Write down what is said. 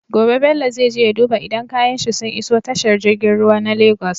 Gobe bello zai je ya duba idan kayan shi sun iso tashar girgin ruwa na lagos